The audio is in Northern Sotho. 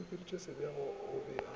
a butšweditše sebešong o be